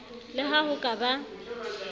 le ha ho ka ba